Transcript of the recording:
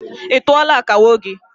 I tuọla akawo gị?